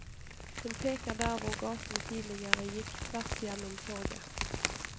Hun peker der hvor gaten tidligere gikk tvers gjennom torget.